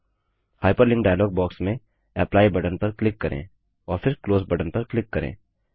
hyperlink dialogue box में apply button पर click करें और फिर क्लोज बटन पर क्लिक करें